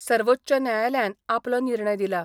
सर्वोच्च न्यायालयान आपलो निर्णय दिला.